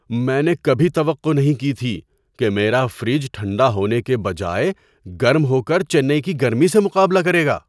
میں نے کبھی توقع نہیں کی تھی کہ میرا فریج ٹھنڈا ہونے کے بجائے گرم ہو کر چنئی کی گرمی سے مقابلہ کرے گا!